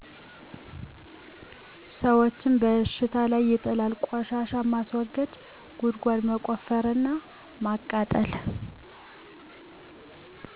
ሰወችን በሽታ ላይ ይጥላል : ቆሻሻ ማስወገጃ ጉድጓድ መቆፈር እና ማቃጠል